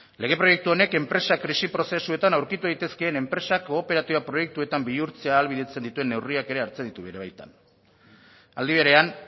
lege proiektu honek enpresak krisi prozesuetan aurkitu daitezkeen enpresak kooperatiba proiektuetan bihurtzea ahalbidetzen dituen neurriak ere hartzen ditu bere baitan aldi berean